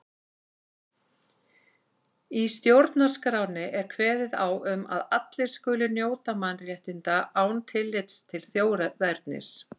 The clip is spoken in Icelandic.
Í stjórnarskránni er kveðið á um að allir skuli njóta mannréttinda án tillits til þjóðernis.